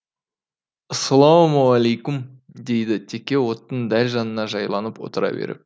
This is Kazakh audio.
ассалаумаликум дейді теке оттың дәл жанына жайланып отыра беріп